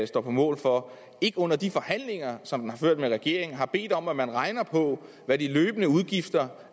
står på mål for ikke under de forhandlinger som den har ført med regeringen har bedt om at man regner på hvad de løbende udgifter